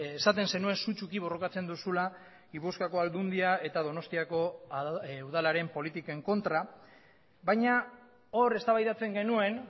esaten zenuen sutsuki borrokatzen duzula gipuzkoako aldundia eta donostiako udalaren politiken kontra baina hor eztabaidatzen genuen